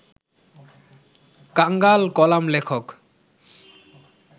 কাঙাল কলামলেখক